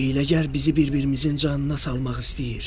“Bu hiyləgər bizi bir-birimizin canına salmaq istəyir.